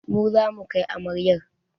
Mu zamu kai amaryar